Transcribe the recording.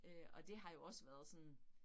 Øh og det har jo også været sådan